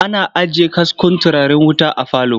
Ana ajiye kaskon turaren wuta a falo.